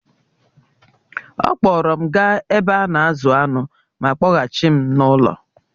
She took me to the Ranch and then took me back home